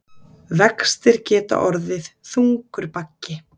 Vextir geta orðið þungur baggi